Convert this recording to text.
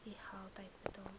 u geld uitbetaal